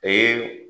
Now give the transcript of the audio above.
Ee